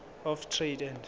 of trade and